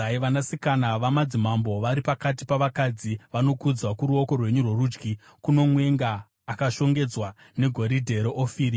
Vanasikana vamadzimambo vari pakati pavakadzi vanokudzwa; kuruoko rwenyu rworudyi kuno mwenga akashongedzwa negoridhe reOfiri.